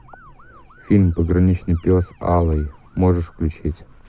фильм пограничный пес алый можешь включить